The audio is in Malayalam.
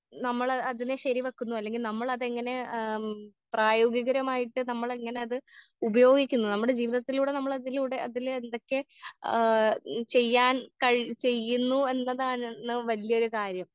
നമ്മള് അതിനെ ശെരി വെക്കുന്നു അല്ലെങ്കി നമ്മളതെങ്ങനെ ആം പ്രയോഗികരമായിട്ട് നമ്മളെങ്ങനത് ഉപയോഗിക്കുന്നു നമ്മടെ ജീവിതത്തിലൂടെ നമ്മളതിലൂടെ അതിലെന്തൊക്കെ ആ ചെയ്യാൻ കഴ് ചെയ്യുന്നു എന്നതാണ് വല്ല്യൊരു കാര്യം.